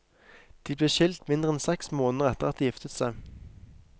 De ble skilt mindre enn seks måneder etter at de giftet seg.